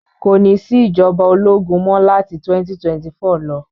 Kò ní sí ìjọba ológun mọ́ láti 2024 lọ.